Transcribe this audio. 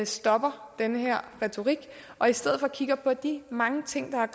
stopper den her retorik og i stedet for kigger på de mange ting der er